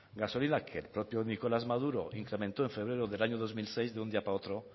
gasolina que el propio nicolás maduro incrementó en febrero del año dos mil seis de un día para otro